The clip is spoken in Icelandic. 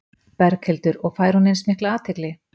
Berghildur: Og fær hún eins mikla athygli?